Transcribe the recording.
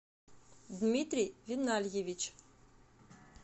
дмитрий винальевич